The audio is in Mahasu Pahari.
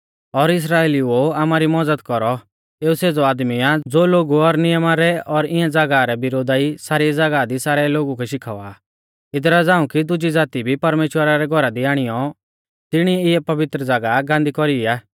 ओ इस्राइलिऊ ओ आमारी मज़द कौरौ एऊ सेज़ौ आदमी आ ज़ो लोगु और नियमा रै और इऐं ज़ागाह रै विरोधा ई सारी ज़ागाह दी सारै लोगु कै शिखावा आ इदरा झ़ांऊ कि दुजी ज़ाती भी परमेश्‍वरा रै घौरा दी आणियौ तिणिऐ इऐ पवित्र ज़ागाह गांदी कौरी आ